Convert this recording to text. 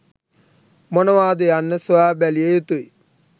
මොනවාද යන්න සොයා බැලිය යුතුයි